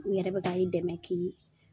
U yɛrɛ bi ka i dɛmɛ ki